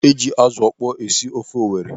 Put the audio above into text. E ji azụ ọkpọọ esi ofe Owere.